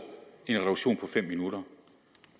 en reduktion på fem minutter